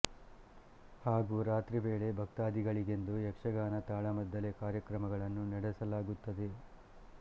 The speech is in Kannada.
ಹಾಗೂ ರಾತ್ರಿ ವೇಳೆ ಭಕ್ತಾದಿಗಳಿಗೆಂದು ಯಕ್ಷಗಾನ ತಾಳಮದ್ದಲೆ ಕಾರ್ಯಕ್ರಮಗಳನ್ನು ನಡೆಸಲಾಗುತ್ತದೆ